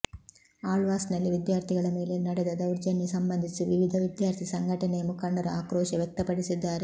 ಆಳ್ವಾಸ್ ನಲ್ಲಿ ವಿದ್ಯಾರ್ಥಿಗಳ ಮೇಲೆ ನಡೆದ ದೌರ್ಜನ್ಯ ಸಂಬಂಧಿಸಿ ವಿವಿಧ ವಿದ್ಯಾರ್ಥಿ ಸಂಘಟನೆಯ ಮುಖಂಡರು ಆಕ್ರೋಶ ವ್ಯಕ್ತಪಡಿಸಿದ್ದಾರೆ